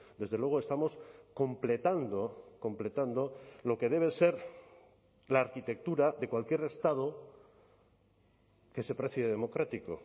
desde luego estamos completando completando lo que debe ser la arquitectura de cualquier estado que se precie democrático